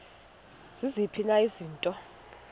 ziziphi na izinto